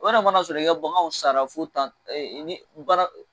O yɛrɛ mana a sɔrɔ i ka bagan sara fɔ tan i bi